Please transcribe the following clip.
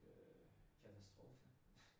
Øh katastrofe